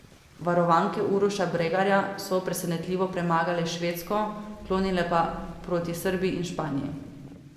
Varovanke Uroša Bregarja so presenetljivo premagale Švedsko, klonile pa proti Srbiji in Španiji.